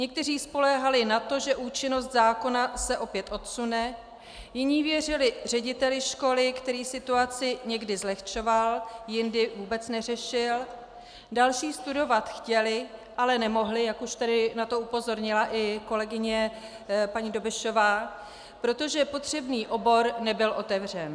Někteří spoléhali na to, že účinnost zákona se opět odsune, jiní věřili řediteli školy, který situaci někdy zlehčoval, jindy vůbec neřešil, další studovat chtěli, ale nemohli, jak už tady na to upozornila i kolegyně paní Dobešová, protože potřebný obor nebyl otevřen.